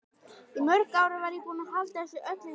Í mörg ár var ég búin að halda þessu öllu í skefjum.